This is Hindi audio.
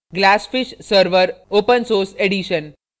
glassfish server open source edition